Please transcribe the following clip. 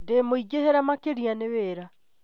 ndĩ muingihire makĩria nĩ wira.